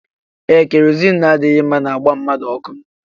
Ee kerozini adịghị mma na-agba mmadụ ọkụ